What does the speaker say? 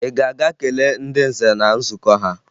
Ị ga-aga kelee ndị nze na nzukọ ha!